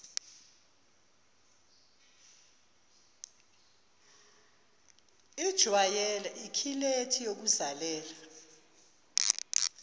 ijwayele ikhilethi yokuzalela